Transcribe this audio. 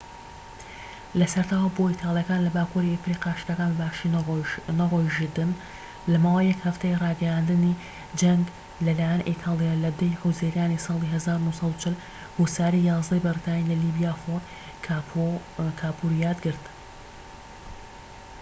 لە سەرەتاوە بۆ ئیتالیەکان لە باکووری ئەفریقیا شتەکان بە باشی نەڕۆیژتن لە ماوەی یەک هەفتەی ڕاگەیاندنی جەنگ لە لایەن ئیتالیا لە 10ی حوزەیرانی ساڵی 1940 هوساری 11ی بەریتانی لە لیبیا فۆرت کاپوزۆیان گرت